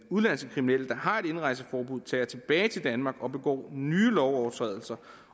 udenlandske kriminelle der har et indrejseforbud tager tilbage til danmark og begår nye lovovertrædelser